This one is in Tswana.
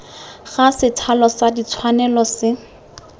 ga sethalo sa ditshwanelo se